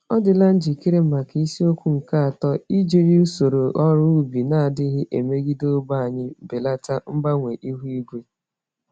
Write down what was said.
Ọ dịla njikere maka isiokwu nke atọ: ijiri usoro ọrụ ubi n'adịghị emegide ogbè anyi, belata mgbanwe ihu igwe?